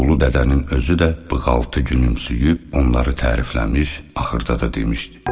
Ulu Dədənin özü də bığaltı gülümsüyüb onları tərifləmiş, axırda da demişdi: